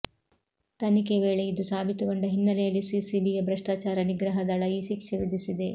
ತನಿಖೆ ವೇಳೆ ಇದು ಸಾಬೀತುಗೊಂಡ ಹಿನ್ನೆಲೆಯಲ್ಲಿ ಪಿಸಿಬಿಯ ಭ್ರಷ್ಟಾಚಾರ ನಿಗ್ರಹ ದಳ ಈ ಶಿಕ್ಷೆ ವಿಧಿಸಿದೆ